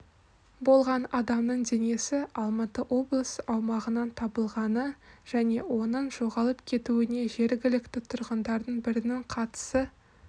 болған адамның денесі алматы облысы аумағынан табылғаны және оның жоғалып кетуіне жергілікті тұрғындардың бірінің қатысы